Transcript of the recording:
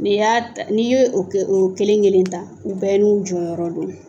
N'i y'a ta, n'i y'o kelen kelen ta u bɛɛ n'u jɔyɔrɔ don.